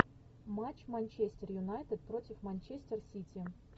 матч манчестер юнайтед против манчестер сити